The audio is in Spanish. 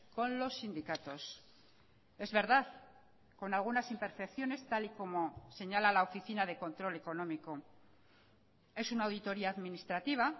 con los sindicatos es verdad con algunas imperfecciones tal y como señala la oficina de control económico es una auditoría administrativa